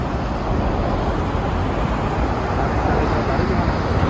આવતી કાલે તમે બારે જવાના છો